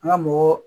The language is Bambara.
An ka mɔgɔ